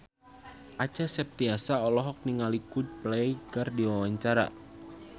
Acha Septriasa olohok ningali Coldplay keur diwawancara